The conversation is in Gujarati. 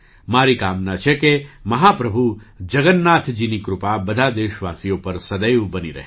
મારી કામના છે કે મહા પ્રભુ જગન્નાથજીની કૃપા બધા દેશવાસીઓ પર સદૈવ બની રહે